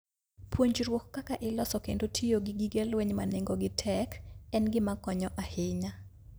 Puonjruok kaka iloso kendo tiyo gi gige lweny ma nengogi tek en gima konyo ahinya.